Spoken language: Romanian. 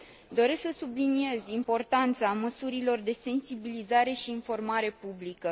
Doresc să subliniez importanța măsurilor de sensibilizare și informare publică.